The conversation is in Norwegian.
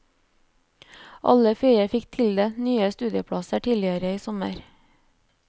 Alle fire fikk tildelt nye studieplasser tidligere i sommer.